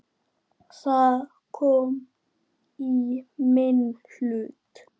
Það kom í minn hlut.